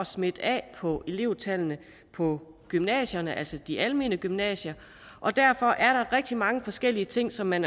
smitte af på elevtallene på gymnasierne altså de almene gymnasier og derfor er der rigtig mange forskellige ting som man